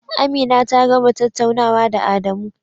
Amina ta gama tattaunawa da Adamu.